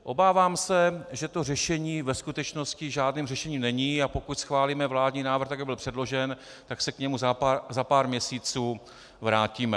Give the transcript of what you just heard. Obávám se, že to řešení ve skutečnosti žádným řešením není, a pokud schválíme vládní návrh tak, jak byl předložen, tak se k němu za pár měsíců vrátíme.